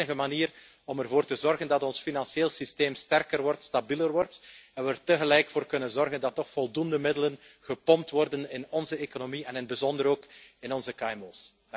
Dat is de enige manier om ervoor te zorgen dat ons financieel systeem sterker wordt, stabieler wordt, en we er tegelijk voor kunnen zorgen dat er toch voldoende middelen gepompt worden in onze economie en in het bijzonder ook in onze kmo's.